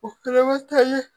O kelen bɛ to ye